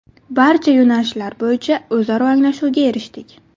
Barcha yo‘nalishlar bo‘yicha o‘zaro anglashuvga erishdik.